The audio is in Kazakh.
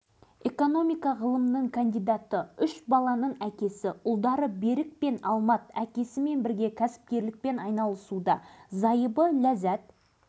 халықтың тілегі осы маңғыстау облысының қызылорда облысының құрмет грамоталарымен марапатталған білікті кәсіпкер ретінде қазақстан президентінің алғыс